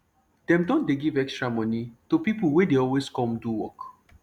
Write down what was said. dem don dey give extra moni to pipo wey dey always come do work